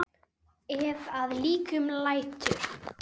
Ef að líkum lætur.